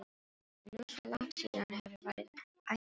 Það er nú svo langt síðan hefur verið ættarmót.